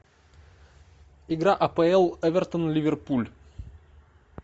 игра апл эвертон ливерпуль